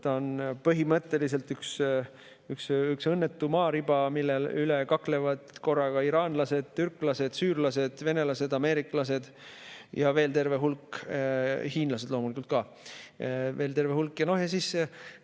See on põhimõtteliselt üks õnnetu maariba, mille pärast kaklevad korraga iraanlased, türklased, süürlased, venelased, ameeriklased, hiinlased loomulikult ka ja veel terve hulk.